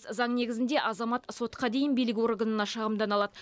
заң негізінде азамат сотқа дейін билік органына шағымдана алады